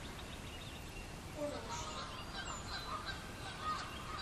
корочи